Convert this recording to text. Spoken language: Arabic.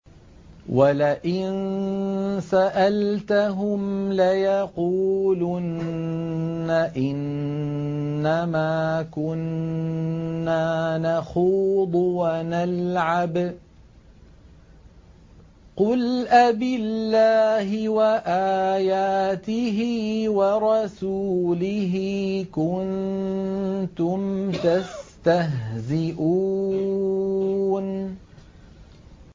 وَلَئِن سَأَلْتَهُمْ لَيَقُولُنَّ إِنَّمَا كُنَّا نَخُوضُ وَنَلْعَبُ ۚ قُلْ أَبِاللَّهِ وَآيَاتِهِ وَرَسُولِهِ كُنتُمْ تَسْتَهْزِئُونَ